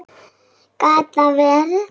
Gat það verið.?